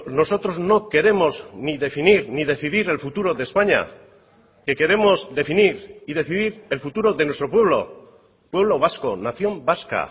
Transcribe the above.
nosotros no queremos ni definir ni decidir el futuro de españa que queremos definir y decidir el futuro de nuestro pueblo pueblo vasco nación vasca